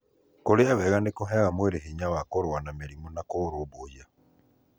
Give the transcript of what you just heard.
Kũrĩa wega nĩkũheaga mwĩrĩ hinya wa kũrũa na mĩrimũ na kũurumbuiya.